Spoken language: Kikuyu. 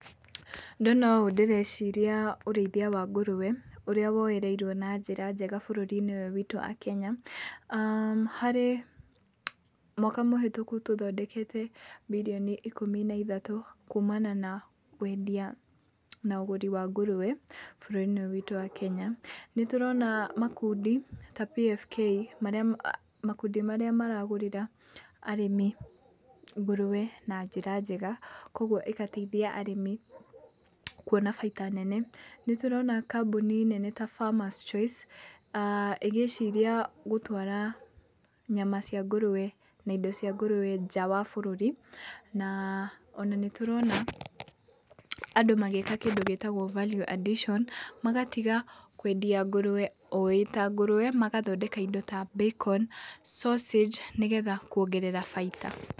Ndona ũũ ndĩreciria ũrĩthia wa nguruwe, ũrĩa woereirwo na njĩra njega bũrũri-inĩ ũyũ witũ a Kenya . Harĩ mwaka mũhĩtũku tũthondekete mirioni ikũmi na ithatũ, kumana na wendia na ũgũri wa ngũrũwe, bũrũri-inĩ ũyũ witũ wa Kenya. Nĩtũrona makundi ta P.F.K marĩa, makundi marĩa maragũrĩra arĩmi ngũrũwe na njĩra njega kũguo ĩgateithia arĩmi kuona baita nene. Nĩtũrona kambuni nene ta Farmers Choice ah ĩgĩciria gũtwara nyama cia ngũrũwe na indo cia ngũrũwe nja wa bũrũri. Na ona nĩtũrona andũ magĩĩka kĩndũ gĩtagwo Value Addition magatiga kwendia ngũrũwe o ĩta ngũrũwe magathondeka indo ta Bacon, Sausage nĩgetha kuongerera baita.